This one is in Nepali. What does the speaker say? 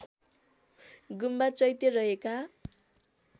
गुम्बा चैत्य रहेका